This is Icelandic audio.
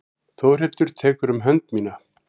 Þórhildur tekur um hönd mína.